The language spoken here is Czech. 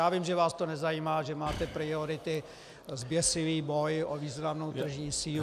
Já vím, že vás to nezajímá, že máte priority, zběsilý boj o významnou tržní sílu...